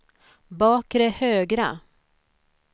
bakre högra